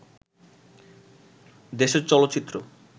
দেশের চলচ্চিত্র